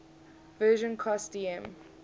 version cost dm